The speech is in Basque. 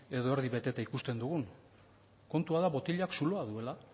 edo erdi beteta ikusten dugun kontua da botilak zuloa duela